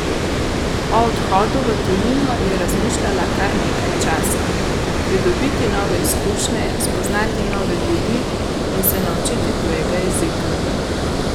O odhodu v tujino je razmišljala kar nekaj časa: "Pridobiti nove izkušnje, spoznati nove ljudi in se naučiti tujega jezika.